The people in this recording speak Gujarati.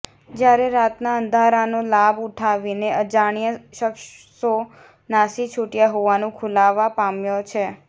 જયારે રાતના અંધારાનો લાભ ઉઠાવીને અજાણ્યા શખ્સો નાસી છૂટયા હોવાનું ખુલવા પામ્યુ છે